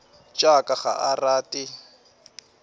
tša ka ga a rate